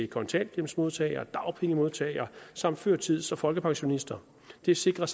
kontanthjælpsmodtagere dagpengemodtagere samt førtids og folkepensionister det sikrer